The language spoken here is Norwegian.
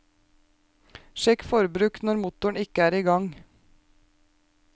Sjekk forbruk når motor ikke er igang.